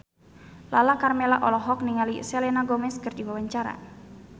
Lala Karmela olohok ningali Selena Gomez keur diwawancara